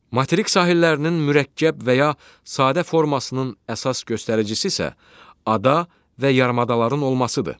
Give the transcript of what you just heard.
Materik sahillərinin mürəkkəb və ya sadə formasının əsas göstəricisi isə ada və yarımadaların olmasıdır.